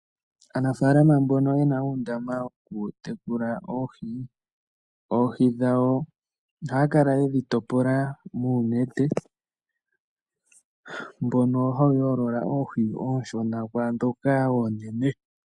Aanafaalama mbono yena uundama woku tekula oohi, oohi dhawo ohaya kala yedhi topola muunete mbono hawu yoolola oohi oonshona kwaa ndhoka oonene.